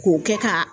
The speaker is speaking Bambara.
K'o kɛ ka